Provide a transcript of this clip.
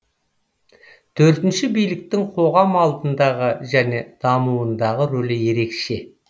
төртінші биліктің қоғам алдындағы және дамуындағы рөлі ерекше